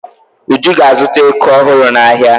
Uju ga-azụta eku ọhụrụ n'ahịa.